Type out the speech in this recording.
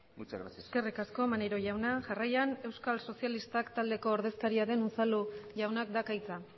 muchas gracias eskerrik asko maneiro jauna jarraian euskal sozialistak taldeko ordezkaria den unzalu jaunak dauka hitza